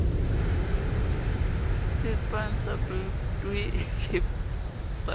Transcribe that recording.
le pansalb doe le dpsa